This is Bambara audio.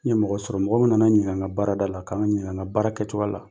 N ye mɔgɔ sɔrɔ mɔgɔ nana n ɲininka n ka baarada la ka n ɲininka baara kɛcogoya la